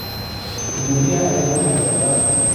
Gudomiyah ayan namathala.